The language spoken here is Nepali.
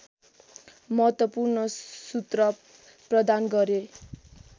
महत्त्वपूर्ण सूत्र प्रदान गरे